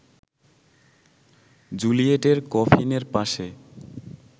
জুলিয়েটের কফিনের পাশে